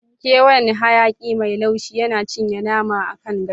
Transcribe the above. Ƙewayen hayaƙi mai laushi yana cinye nama akan gashi.